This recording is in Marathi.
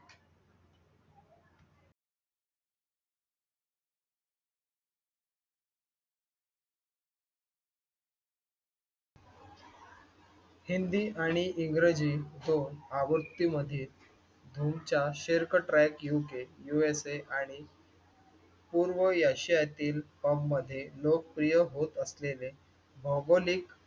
हिन्दी आणि इंग्रजी च्या आवृत्तीमध्ये भाऊच्या पूर्व यशयातील फॉर्ममध्ये लोकप्रिय होत असलेले भौगोलिक